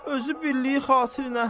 Özü birliyi xatirinə.